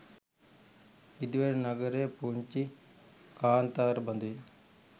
ඉදිවෙන නගර පුංචි කාන්තාර බඳුය.